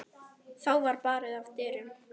Þá var barið að dyrum.